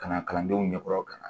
Ka na kalandenw ɲɛkɔrɔ ka na